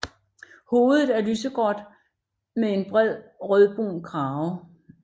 Hovedet er lysegråt med en bred rødbrun krave